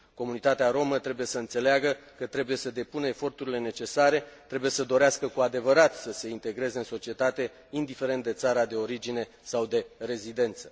Comunitatea rromă trebuie să înțeleagă că trebuie să depună eforturile necesare, trebuie să dorească cu adevărat să se integreze în societate, indiferent de țara de origine sau de rezidență.